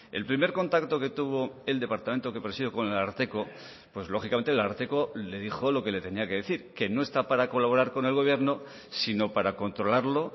el primer contacto que tuvo el departamento que presido con el ararteko pues lógicamente el ararteko le dijo lo que le tenía que decir que no está para colaborar con el gobierno sino para controlarlo